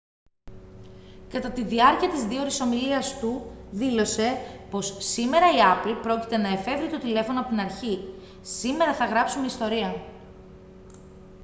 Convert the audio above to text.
κατά τη διάρκεια της 2ωρης ομιλίας του δήλωσε πως «σήμερα η apple πρόκειται να εφεύρει το τηλέφωνο απ' την αρχή σήμερα θα γράψουμε ιστορία»